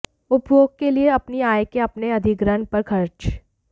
उपभोग के लिए अपनी आय के अपने अधिग्रहण पर खर्च